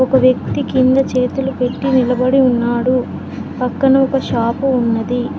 ఒక వ్యక్తి కింద చేతులు పెట్టి నిలబడి ఉన్నాడు పక్కన ఒక షాపు ఉన్నది.